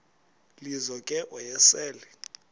lizo ke wayesel